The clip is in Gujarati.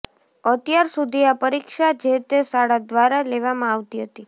અત્યાર સુધી આ પરીક્ષા જેતે શાળા દ્વારા લેવામાં આવતી હતી